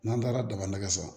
N'an taara daga san